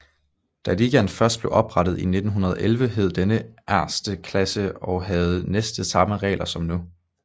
Da ligaen først blev oprettet i 1911 hed denne Erste Klasse og havde næsten samme regler som nu